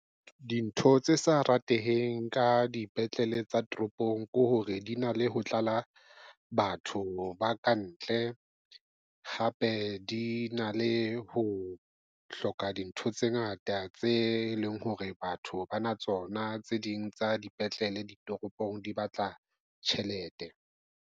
Dintho tse sa rateheng ka dipetlele tsa toropong ke hore di na le ho tlala batho ba kantle, hape di na le ho hloka dintho tse ngata tse leng hore batho ba na tsona. Tse ding tsa dipetlele ditoropong di batla tjhelete.